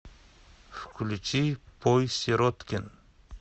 включи пой сироткин